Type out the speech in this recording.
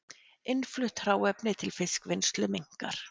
Innflutt hráefni til fiskvinnslu minnkar